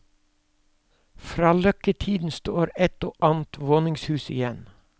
Fra løkketiden står et og annet våningshus igjen.